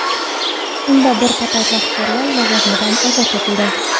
Unda bir qator rahbarlar lavozimidan ozod etildi.